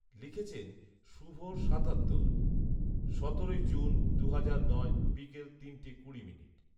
লিখেছেন শুভ সাতাত্তর , সতেরোই জুন, দুহাজার নয় বিকাল তিনটা কুড়ি